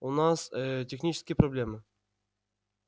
у нас ээ технические проблемы